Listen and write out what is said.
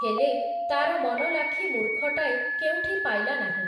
ହେଲେ, ତାର ମନଲାଖି ମୂର୍ଖଟାଏ, କେଉଁଠି ପାଇଲା ନାହିଁ ।